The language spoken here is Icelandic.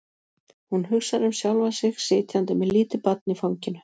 Hún hugsar um sjálfa sig sitjandi með lítið barn í fanginu.